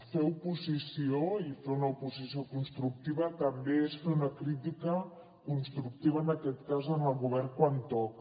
fer oposició i fer una oposició constructiva també és fer una crítica constructiva en aquest cas al govern quan toca